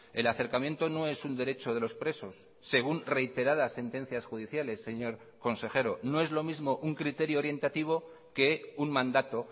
el acercamiento no es un derecho de los presos según reiteradas sentencias judiciales señor consejero no es lo mismo un criterio orientativo que un mandato